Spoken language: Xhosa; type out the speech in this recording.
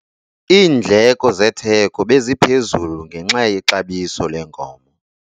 Iindleko zetheko beziphezulu ngenxa yexabiso lenkomo.